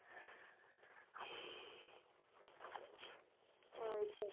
choice A